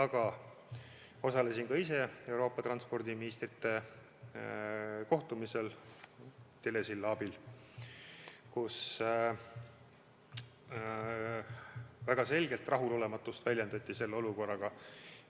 Ma osalesin ka ise Euroopa transpordiministrite kohtumisel telesilla abil ja seal väljendati väga selgelt rahulolematust selle olukorraga.